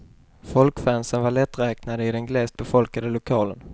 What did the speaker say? Folkfansen var lätträknade i den glest befolkade lokalen.